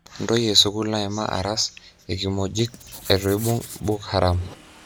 Ntoyie esukul naima aras ekimojik etueibung Book Haram.